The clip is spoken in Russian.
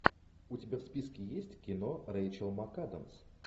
у тебя в списке есть кино рэйчел макадамс